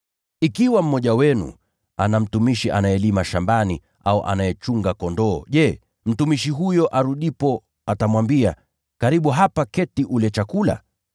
“Ikiwa mmoja wenu ana mtumishi anayelima shambani au anayechunga kondoo, je, mtumishi huyo arudipo atamwambia, ‘Karibu hapa keti ule chakula?’